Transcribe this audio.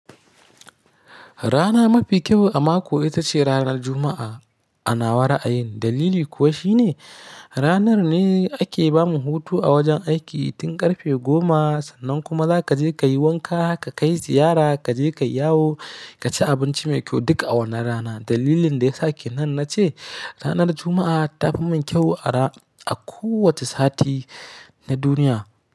Rana mafi kyau a mako ita ce ranar Juma'a. A nawa ra'ayin. Dalili kuwa shi ne ranar ne ake ba mu hutu a wajen aiki tun ƙarfe goma. Sannan kuma za ka je ka yi wanka, ka kai ziyara, ka je ka yawo, ka ci abinci mai kyau duk a wannan rana. Dalilin da ya sake nan na ce ranar Juma'a ta fi min kyau a ra-- a kowace sati na duniya.